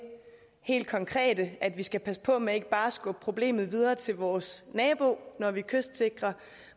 helt konkrete at vi skal passe på med ikke bare at skubbe problemet videre til vores nabo når vi kystsikrer